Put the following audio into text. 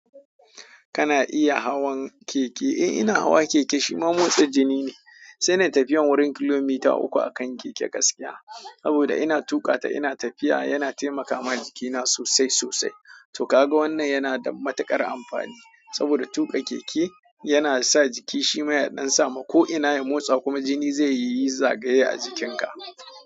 Kana iya hawan keke? Eh, ina hawa keke shima motsa jini ne, sai na tafiya wurin kilomita uku a kan keke gaskiya. Saboda ina tuƙa ta ina tafiya yana taimaka ma jikina sosai sosai. To ka ga wannan yana da matuƙar amfani saboda tuƙa keke yana sa jiki shima ya ɗan samu ko'ina ya motsa kuma jini zai yi zagaye a jikinka.